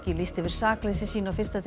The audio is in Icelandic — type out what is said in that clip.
lýsti yfir sakleysi sínu á fyrsta degi